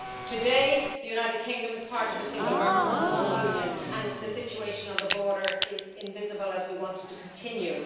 Today, the United Kingdom is part of the single market and customs union and the situation on the border is invisible, as we want it to continue.